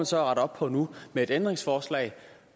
så at rette op på nu med et ændringsforslag